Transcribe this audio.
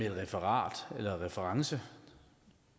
et referat eller en reference